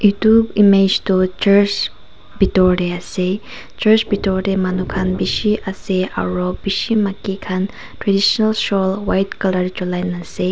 etu image toh church bethor te ase church bethor te manu khan bisi ase aru bisi maiki khan traditional swol white colour jalai na ase.